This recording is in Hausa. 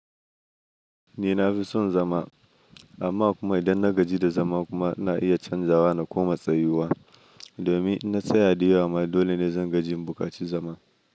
Ni na fi son zama amma kuma idan na gaji da zama kuma na iya canjawa da koma tsayuwa domin na tsaya diyama dole ne zan gajin bukaci zama.